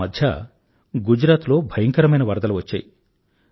ఆమధ్య గుజరాత్ లో భయంకరమైన వరదలు వచ్చాయి